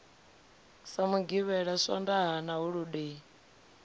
ha mugivhela swondaha na holodei